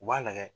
U b'a lagɛ